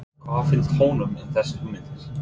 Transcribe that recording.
Hvað finnst honum um þessar hugmyndir?